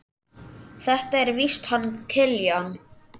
Þetta er víst hann Kiljan.